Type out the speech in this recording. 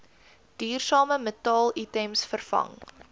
duursame metaalitems vervang